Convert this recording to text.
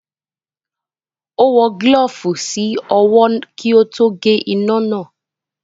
Ó wọ gílọ̀ọ̀fù sí ọwọ́ kí ó tó gé iná náà